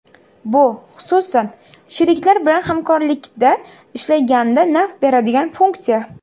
Bu, xususan, sheriklar bilan hamkorlikda ishlaganda naf beradigan funksiya.